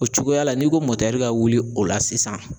O cogoya la n'i ko mɔtɛri ka wuli o la sisan